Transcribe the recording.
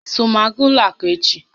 I so m aga ụlọ àkụ́ echi?